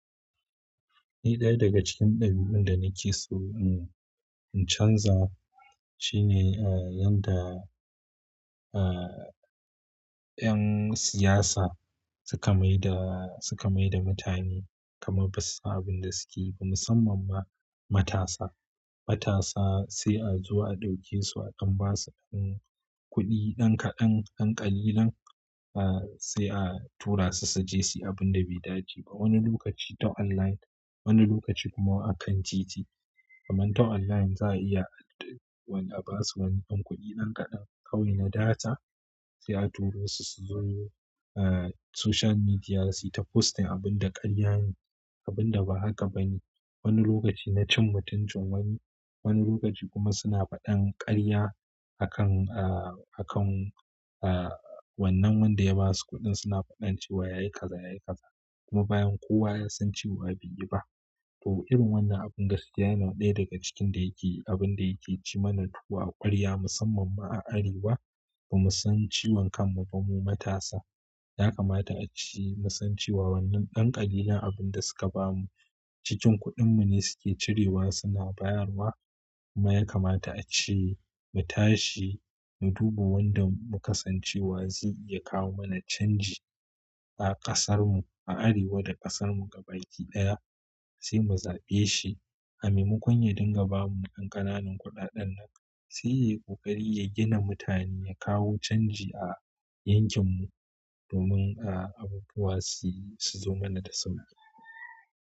Ni ɗaya daga cikin ɗabi'un da nake so in chanza shine yadda 'yan siyasa suka maida, suka maida mutane kamar ba su san abin da suke yi ba musamman ma matasa. Matasa sai a zo a ɗauke su akan ba su ɗan kuɗi ɗan kaɗan, ɗan ƙalilan sai a tura su su je su yi abun da bai dace ba. Wani lokaci ta online, wani lokaci kuma akan titi. Kaman ta online za a iya, wani a ba su wani ɗan kuɗi nan kaɗan kawai na data sai a turo su suzo ah soshiyal midia su yi ta postin abinda ƙaryane, abinda ba haka bane wani lokacin na cin mutuncin wani, wani lokaci kuma suna faɗar ƙarya akan ah akan ah wannan wanda ya ba su kuɗin suna faɗan cewa yayi kaza yayi kaza kuma bayan kowa ya san cewa bai yi ba. To irin wannan abun gaskiya yana ɗaya daga cikin da yake abun da yake ci mana tuwo ƙwarya musamman ma a Arewa. Bamu san ciwon kanmu ba mu matasa. Ya kamata a ci, mu san cewa wannan ɗan ƙalilan abin da suka ba mu cikin kuɗinmu ne suke cirewa suna bayarwa kuma ya kamata a ce mu tashi mu duba wanda muka san cewa zai iya kawo mana canji a ƙasarmu, a Arewa da ƙasarmu gaba ki ɗaya sai mu zaɓe shi. A maimakon ya dinga ba mu ɗan ƙananan kuɗaɗen nan sai yayi ƙoƙari ya gina mutane ya kawo canji a yankinmu domin abubuwa su, su zo mana da sauƙi.